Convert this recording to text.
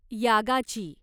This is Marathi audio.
यागाची